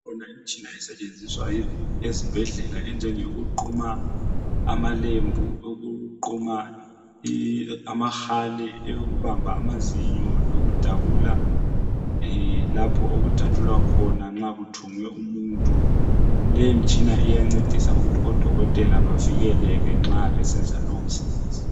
Ikhona imitshina esetshenziswa ezibhedlela injenge yokuquma amalembu, ukuquma amahali, eyokubamba amazinyo, lokudabula Leyo mitshina iyancedisa ukuthi odokotela bavikeleke nxa besenza lowo musebenzi.